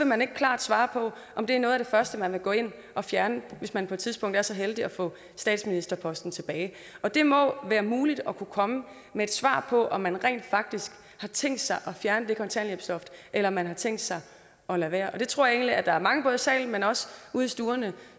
man ikke klart svare på om det er noget af det første man vil gå ind og fjerne hvis man på et tidspunkt er så heldige at få statsministerposten tilbage det må være muligt at kunne komme med et svar på om man rent faktisk har tænkt sig at fjerne det kontanthjælpsloft eller om man har tænkt sig at lade være jeg tror egentlig at der er mange både i salen men også ude i stuerne